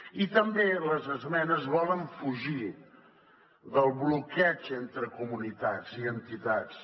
i també les esmenes volen fugir del bloqueig entre comunitats i entitats